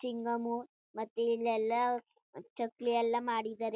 chewing gum ಮತ್ತೆ ಇಲ್ಲಯೆಲ್ಲ ಚಕ್ಲಿ ಎಲ್ಲ ಮಾಡಿದರೆ--